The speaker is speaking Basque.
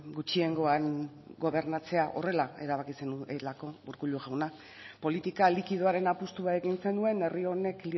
gutxiengoan gobernatzea horrela erabaki zenuelako urkullu jauna politika likidoaren apustua egin zenuen herri honek